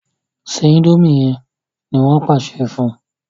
se indomie yén! ní wón pàṣẹ fún